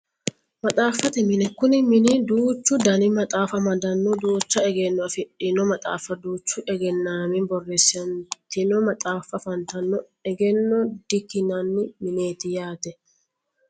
Maxaafate mine Kuni mini duuchu Dani maxaafa amadano duucha egenno afidhino maxaafa duuchu eggenaami borreessitino maxaafa afantano egenno dikki'nani mineeti yaate